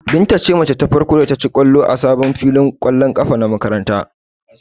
Binta ce mace ta farko da ta ci ƙwallo a sabon filin ƙwallon ƙafar makarantar.